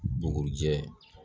Bugurijɛ